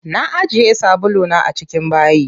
Na ajiye sabulu na a cikin bayi.